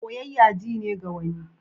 Soyayya ji ne ga wani.